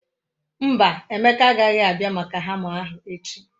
Mba, Emeka aghaghi abia maka hama ahu echi.